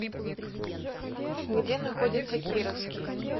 где находится кировский